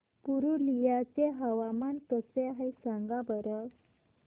पुरुलिया चे हवामान कसे आहे सांगा बरं